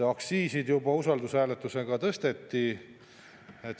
Aktsiise juba usaldushääletusega tõsteti.